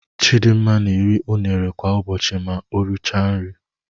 Chidinma na-eri unere kwa ụbọchị ma o richara nri.